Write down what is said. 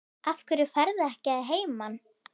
Af hverju ferðu ekki að heiman?